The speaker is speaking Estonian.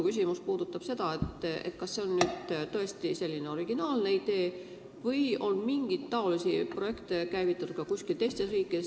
Kas see on täiesti originaalne idee või on niisuguseid projekte käivitatud ka teistes riikides?